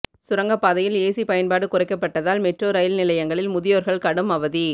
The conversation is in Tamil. சுரங்கப்பாதையில் ஏசி பயன்பாடு குறைக்கப்பட்டதால் மெட்ரோ ரயில் நிலையங்களில் முதியோர்கள் கடும் அவதி